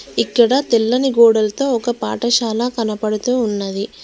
ఇక్కడ తెల్లని గోడలతో ఒక పాఠశాల కనపడుతూ ఉన్నది.